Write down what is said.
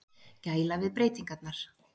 Gæla við breytingarnar.